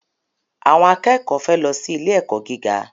Àwọn akẹ́kọ̀ọ́ fẹ́ lọ sí ilé-ẹ̀kọ́ gíga.